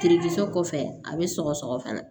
kɔfɛ a bɛ sɔgɔsɔgɔ fana